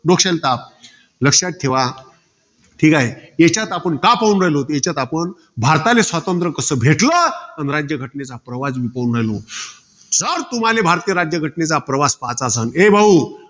दोकशालताप? लक्षात ठेवा. ठीके? याच्यात आपण का पळून राहिलो? तर याच्यात आपण भारातले स्वातंत्र्य कसं भेटलं? अन राज्यघटनेचा प्रवास हूडकवून राहिलो. जर तुम्हाला राज्यघटनेचा प्रवास पहचा असंन. ए भाऊ